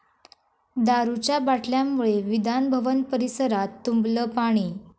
दारूच्या बाटल्यांमुळे विधान भवन परिसरात तुंबलं पाणी